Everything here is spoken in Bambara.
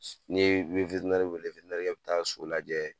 Ni be weele bi taa so lajɛ